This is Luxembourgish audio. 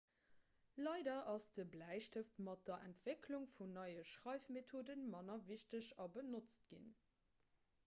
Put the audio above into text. leider ass de bläistëft mat der entwécklung vun neie schreifmethode manner wichteg a benotzt ginn